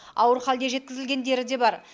ауыр халде жеткізілгендері де бар